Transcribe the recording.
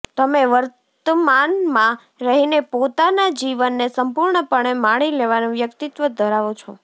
તમે વર્તમાન માં રહીને પોતાના જીવન ને સંપૂર્ણપણે માણી લેવાનું વ્યક્તિત્વ ધરાવો છો